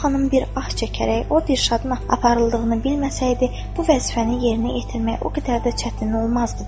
Səbah xanım bir ah çəkərək, o Dürşadın aparıldığını bilməsəydi, bu vəzifəni yerinə yetirmək o qədər də çətin olmazdı dedi.